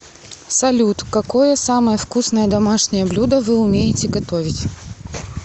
салют какое самое вкусное домашнее блюдо вы умеете готовить